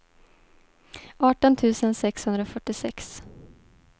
arton tusen sexhundrafyrtiosex